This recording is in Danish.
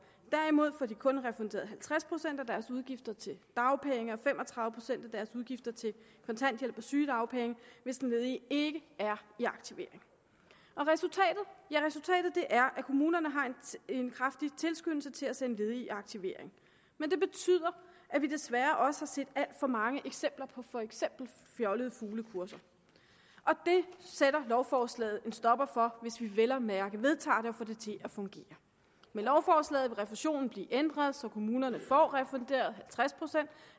derimod får de kun refunderet halvtreds procent af deres udgifter til dagpenge og fem og tredive procent af deres udgifter til kontanthjælp og sygedagpenge hvis den ledige ikke er i aktivering og resultatet ja resultatet er at kommunerne har en kraftig tilskyndelse til at sende ledige i aktivering men det betyder at vi desværre også har set alt for mange eksempler på for eksempel fjollede fuglekurser det sætter lovforslaget en stopper for hvis vi vel at mærke vedtager det og får det til at fungere med lovforslaget vil refusionen blive ændret så kommunerne får refunderet halvtreds procent